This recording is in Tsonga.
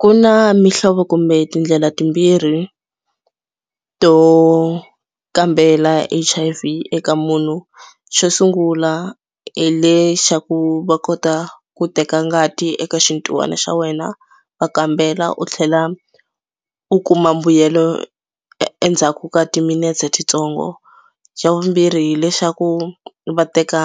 Ku na mihlovo kumbe tindlela timbirhi to kambela H_I_V eka munhu. Xo sungula hi le xa ku va kota ku teka ngati eka xintihwana xa wena va kambela u tlhela u kuma mbuyelo e endzhaku ka timinetse titsongo. Xa vumbirhi hileswaku vateka